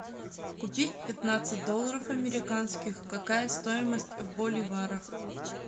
купить пятнадцать долларов американских какая стоимость в боливарах